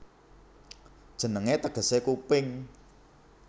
Jenengé tegesé Kuping